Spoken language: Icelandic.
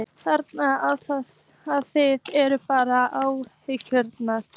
Þannig að þið eruð bara ánægðar?